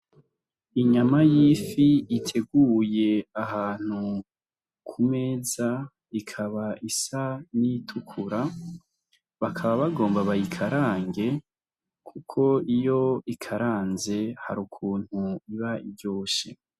Inyama y'ifi iteguye ahantu ku meza ikaba isa nitukura bakaba bagomba bayikarange, kuko iyo ikaranze hari ukuntu iba iryoshe.